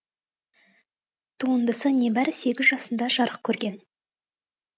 туындысы небәрі сегіз жасында жарық көрген